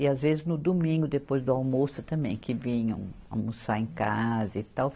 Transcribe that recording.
E às vezes no domingo, depois do almoço também, que vinham almoçar em casa e tal.